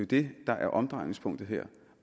det der er omdrejningspunktet her